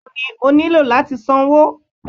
bẹẹni, o niló latí sánwọ